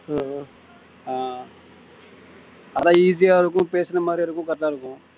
ஆஹ் அதான் easy யா இருக்கும் பேசின மாதிரியும் இருக்கும் correct ஆ இருக்கும்